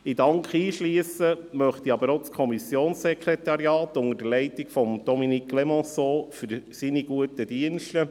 In den Dank einschliessen möchte ich auch das Kommissionssekretariat, unter der Leitung von Dominique Clémençon, für seine guten Dienste.